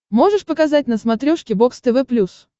можешь показать на смотрешке бокс тв плюс